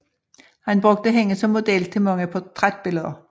Han brugte hende som model til mange portrætbilleder